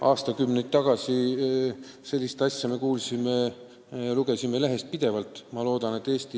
Aastakümneid tagasi me kuulsime ja lugesime lehest pidevalt selliseid asju.